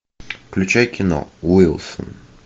включай кино уилсон